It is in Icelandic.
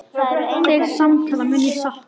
Þeirra samtala mun ég sakna.